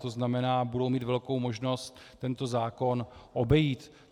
To znamená, budou mít velkou možnost tento zákon obejít.